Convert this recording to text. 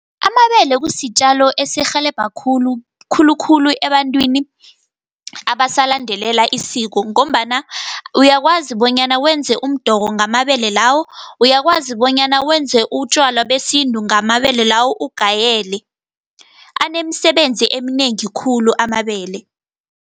Amabele kusitjalo esirhelebha khulu, khulukhulu ebantwini abasalandelela isiko, ngombana uyakwazi bonyana wenze umdoko ngamabele lawo. Uyakwazi bonyana wenze utjwala besintu ngamabele lawo, ugayele, anemisebenzi eminengi khulu amabele.